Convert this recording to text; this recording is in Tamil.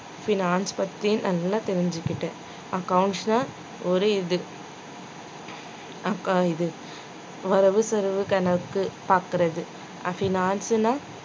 finance பத்தி நல்லா தெரிச்சுக்கிட்டேன் accounts ல ஒரு இது accou~ இது வரவு செலவு கணக்கு பாக்கறது finance ல